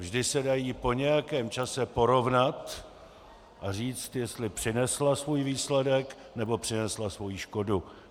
Vždy se dají po nějakém čase porovnat a říct, jestli přinesla svůj výsledek, nebo přinesla svoji škodu.